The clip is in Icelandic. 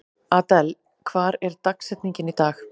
Adel, hver er dagsetningin í dag?